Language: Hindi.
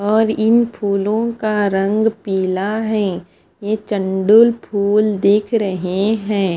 और इन फूलो का रंग पिला है यह चंदुल फुल दिख रहे है।